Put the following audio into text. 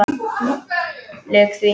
Lauk því.